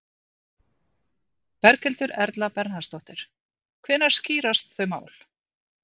Berghildur Erla Bernharðsdóttir: Hvenær skýrast þau mál?